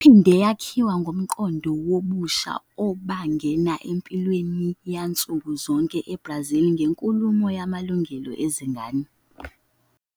Iphinde yakhiwa ngumqondo wobusha obangena empilweni yansuku zonke eBrazil ngenkulumo ngamalungelo ezingane.